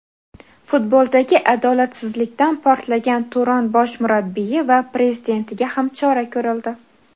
futboldagi adolatsizlikdan "portlagan" "Turon" bosh murabbiyi va prezidentiga ham chora ko‘rildi.